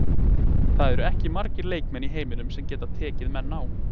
Það eru ekki margir leikmenn í heiminum sem geta tekið menn á.